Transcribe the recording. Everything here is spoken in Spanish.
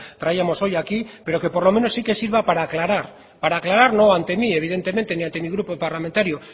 trajimos hoy aquí pero que por lo menos sí que sirva para aclarar para aclarar no ante mi evidentemente ni ante mi grupo parlamentario